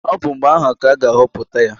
Ọ bụ mgbe ahụ ka a ga-ahọpụta ya.